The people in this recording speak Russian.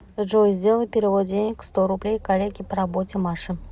джой сделай перевод денег сто рублей коллеге по работе маше